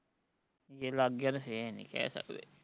ਜੇ ਲੱਗ ਗਿਆ ਤੇ ਫੇਰ ਨੀ ਕਹਿ ਸਕਦੇ